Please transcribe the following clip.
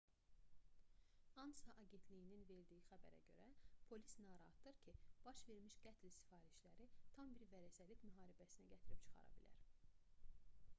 ansa agentliyinin verdiyi xəbərə görə polis narahatdır ki baş vermiş qətl sifarişləri tam bir vərəsəlik müharibəsinə gətirib çıxara bilər